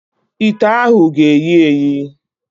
Ite ahụ ga-eyi eyi.